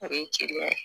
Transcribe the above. Ani jeliya